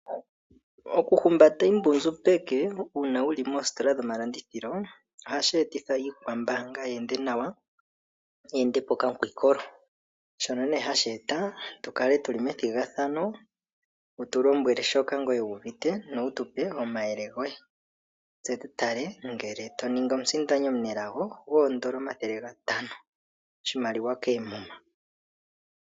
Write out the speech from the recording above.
Okuhumbata iimbundju peke uuna wuli moositola dhomalandithilo, ohashi etitha iikwambaanga yi ende nawa. Yi ende po okamukwiikolo. Shono nee hashi eta tu kale methigathano wu tu lombwele shoka wuuvite no wutupe omayele goye, tse tu tale ngele to ningi omusindani omunelago goondola omathele gatano oshimaliwa koomuma.